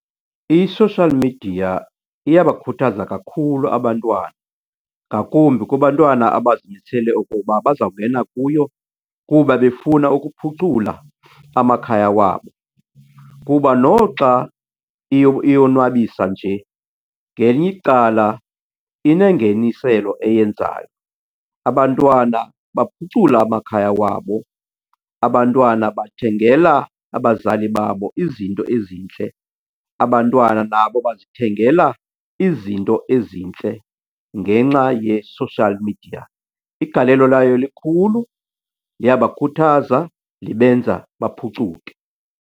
I-social media iyabakhuthaza kakhulu abantwana, ngakumbi kubantwana abazimisele okoba bazawungena kuyo kuba befuna ukuphucula amakhaya wabo. Kuba noxa iyonwabisa nje ngelinye icala inengeniselo eyenzayo, abantwana baphucula amakhaya wabo, abantwana bathengela abazali babo izinto ezintle, abantwana nabo bazithengela izinto ezintle ngenxa ye-social media. Igalelo layo likhulu, liyabakhuthaza, libenza baphucuke.